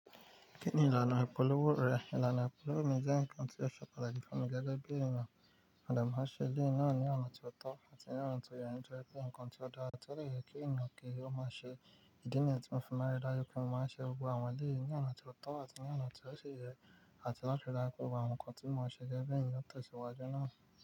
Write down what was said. Kí ni ìlànà ìpolówó rẹ? Ìlànà ìpolówó mi jẹ́ nǹkan ti ó ṣe pàtàkì fun mi gẹ́gẹ́ bí ènìyàn. Àdààmú àṣẹ lé è náà ní ọ̀nà tí ó tọ́ àti ní ọ̀nà tí o ye nitoripe ǹkan tí ó dára tí ó de yẹ kí ènìyàn kí ó máa ṣe. Ìdí nìyi tí mo fi máa rí dájú pé mo máa ṣe gbogbo àwọn èyí ní ọ̀nà tí ó tọ́ àti ní ọ̀nà tí ó ṣe yẹ àti láti dára pẹ̀lú àwọn ǹkan tí mo máa ṣe gẹ́gẹ́ bí èèyàn tó ti ìṣòwò ajé náà.